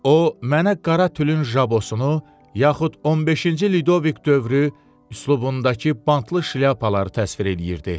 O mənə qara tülün jabosunu, yaxud 15-ci Lidovik dövrü üslubundakı bantlı şlyapaları təsvir eləyirdi.